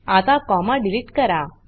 आता comma delete करा